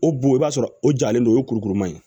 O bon i b'a sɔrɔ o jalen don o ye kurukuruma ye